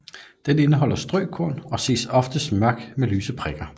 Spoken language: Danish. Den indeholder strøkorn og ses oftest mørk med lyse prikker